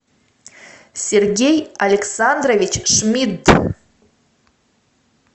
сергей александрович шмидт